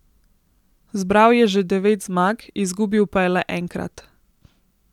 Zbral je že devet zmag, izgubil pa je le enkrat.